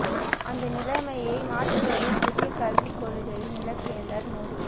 அந்த நிலைமையை மாற்றுவதே புதிய கல்விக் கொள்கையின் இலக்கு என்றார் மோடி